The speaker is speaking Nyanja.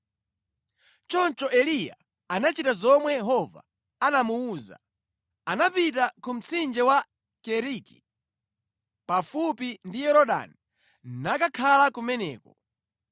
Choncho Eliya anachita zomwe Yehova anamuwuza. Anapita ku mtsinje wa Keriti, pafupi ndi Yorodani, nakakhala kumeneko.